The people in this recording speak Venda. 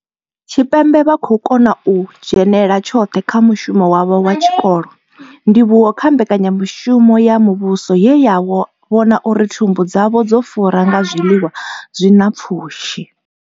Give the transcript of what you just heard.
Tshipembe vha khou kona u dzhenela tshoṱhe kha mushumo wavho wa tshikolo, ndivhuwo kha mbekanya mushumo ya muvhuso ye ya vhona uri thumbu dzavho dzo fura nga zwiḽiwa zwi na pfushi.